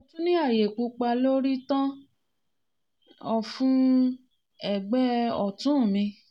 mo tun ni aaye pupa lori tan-an-na ofun egbe otun mi